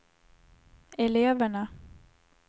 eleverna